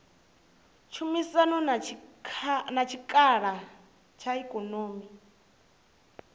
tshumisano na tshikalo tsha ikonomi